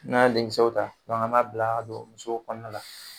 N'an y'a denkisɛw ta an m'a bila ka don muso kɔnɔna la.